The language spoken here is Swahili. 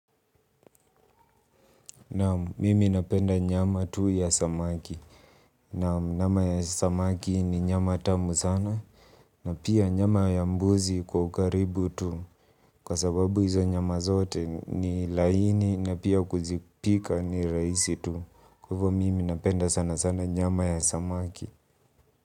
Naam mimi napenda nyama tu ya samaki. Naam nyama ya samaki ni nyama tamu sana. Na pia nyama ya mbuzi kwa ukaribu tu. Kwa sababu hizo nyama zote ni laini na pia kuzipika ni rahisi tu. Kwa hivyo mimi napenda sana sana nyama ya samaki.